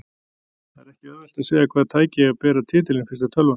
Það er ekki auðvelt að segja hvaða tæki eigi að bera titilinn fyrsta tölvan.